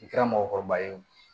I kɛra mɔgɔkɔrɔba ye o